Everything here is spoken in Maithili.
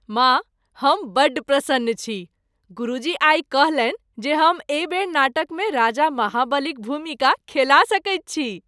माँ, हम बड़ प्रसन्न छी, गुरुजी आइ कहलनि जे हम एहि बेर नाटकमे राजा महाबलीक भूमिका खेला सकैत छी।